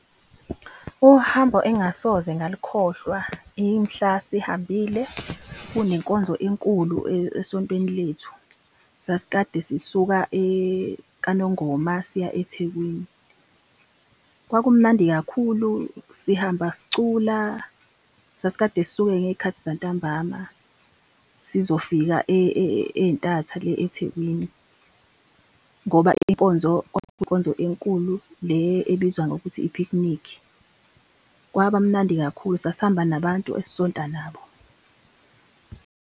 Uhambo engasoze ngalukhohlwa imhla sihambile kunenkonzo enkulu esontweni lethu, sasikade sisuka Kwanongoma, siya eThekwini. Kwakumnandi kakhulu, sihamba sicula, sasikade sisuke ngey'khathi zantambama, sizofika ey'ntatha le eThekwini, ngoba inkonzo kwakuyinkonzo enkulu le ebizwa ngokuthi i-picnic. Kwaba mnandi kakhulu, sasihamba nabantu esisonta nabo.